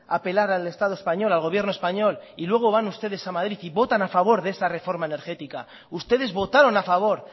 apelar al estado español al gobierno español y luego van ustedes a madrid y votan a favor de esa reforma energética ustedes votaron a favor